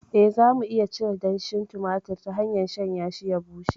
Eh, za mu iya cire danshin tumatir ta hanyar shanyashi ya bushe.